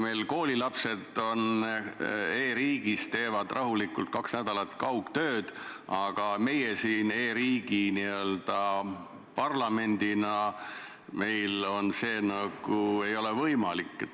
Meil koolilapsed siin e-riigis teevad rahulikult kaks nädalat kaugtööd, aga meil, e-riigi parlamendil, see ei ole võimalik.